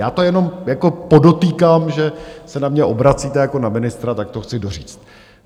Já to jenom podotýkám, že se na mě obracíte jako na ministra, tak to chci doříct.